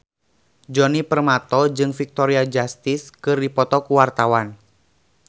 Djoni Permato jeung Victoria Justice keur dipoto ku wartawan